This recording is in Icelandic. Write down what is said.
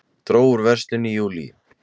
Dró úr verslun í júlí